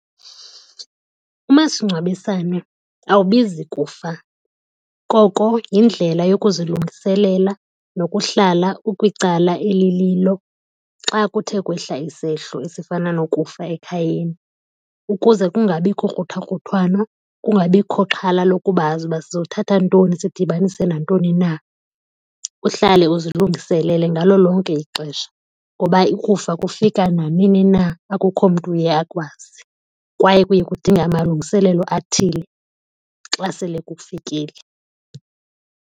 Umasingcwabisane awubizi kufa, koko yindlela yokuzilungiselela nokuhlala ukwicala elililo xa kuthe kwehla isehlo esifana nokufa ekhayeni ukuze kungabikho kruthakruthwano, kungabikho xhala lokuba azi uba sizothatha ntoni sidibanise nantoni na. Uhlale uzilungiselele ngalo lonke ixesha ngoba ukufa kufika nanini na, akukho mntu uye akwazi kwaye kuye kudinge amalungiselelo athile xa sele kufikile.